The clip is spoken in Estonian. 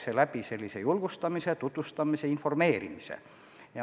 See töö käib läbi julgustamise, tutvustamise, informeerimise.